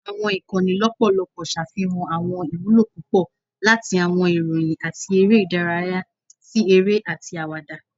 Awọn ikanni lọpọlọpọ ṣafihan awọn iwulo pupọ, lati awọn iroyin ati ere idaraya si ere ati awada.